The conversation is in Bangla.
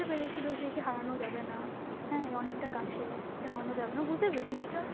বুঝতে পেরেছিল যে কি হারানো যাবে না, হ্যাঁ, অনেকটা কাছের, একে হারানো যাবে না, ও বুঝতে পেরেছে জিনিসটা.